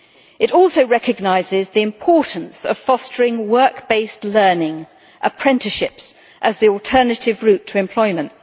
It also recognises the importance of fostering work-based learning apprenticeships as the alternative route to employment.